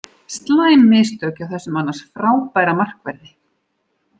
Slæm mistök hjá þessum annars frábæra markverði.